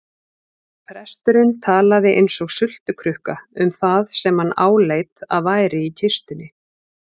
Presturinn talaði eins og sultukrukka um það sem hann áleit að væri í kistunni.